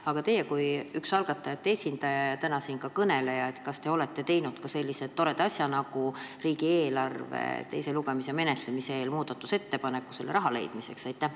Aga teie kui üks algatajate esindajaid ja täna siin ka kõneleja, kas te olete teinud sellise toreda asja nagu muudatusettepaneku riigieelarve teiseks lugemiseks selle jaoks raha leidmiseks?